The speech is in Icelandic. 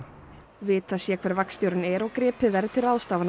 vitað sé hver vagnstjórinn er og gripið verði til ráðstafana